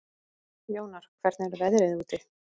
Jónar, hvernig er veðrið úti?